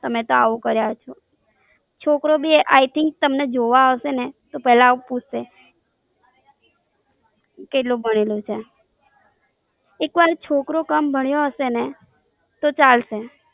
તમે તો એવું કરીયુ. છોકરો બી I Think તમને જોવા આવશેને તો પેલા એવું પૂછશે કેટલું ભણેલી છે. એક વાર છોકરો કમ ભણ્યો હશે ને તો ચાલસે